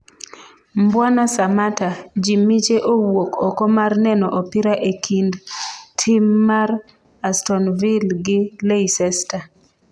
Mbwana Samatta:jii miche owuk oko mar neno opira ekind tim mar aston vill gi Leicester